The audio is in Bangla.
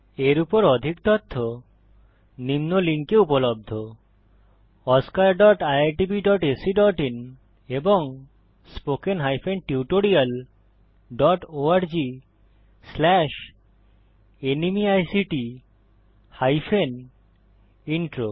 এর উপর অধিক তথ্য নিম্ন লিঙ্কে উপলব্ধ oscariitbacআইএন এবং spoken tutorialorgnmeict ইন্ট্রো